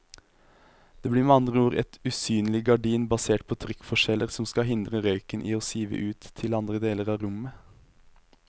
Det blir med andre ord et usynlig gardin basert på trykkforskjeller som skal hindre røyken i å sive ut til andre deler av rommet.